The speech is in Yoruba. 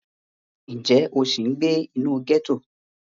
Ǹjẹ́ o sì ń gbé inú gẹ́tò?